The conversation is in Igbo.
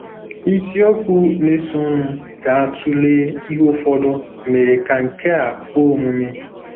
Isiokwu na-esonụ ga-atụle ihe ụfọdụ mere ka nke a kwe omume.